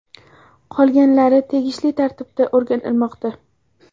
Qolganlari tegishli tartibda o‘rganilmoqda.